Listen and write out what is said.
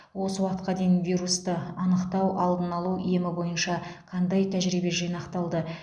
осы уақытқа дейін вирусты анықтау алдын алу емі бойынша қандай тәжірибе жинақталды